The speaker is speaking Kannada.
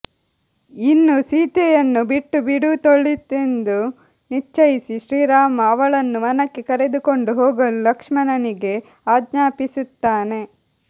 ಇನ್ನು ಸೀತೆಯನ್ನು ಬಿಟ್ಟುಬಿಡುವುದೊಳಿತೆಂದು ನಿಶ್ಚಯಿಸಿ ಶ್ರೀರಾಮ ಅವಳನ್ನು ವನಕ್ಕೆ ಕರೆದುಕೊಂಡು ಹೋಗಲು ಲಕ್ಷ್ಮಣನಿಗೆ ಆಜ್ಞಾಪಿಸುತ್ತಾನೆ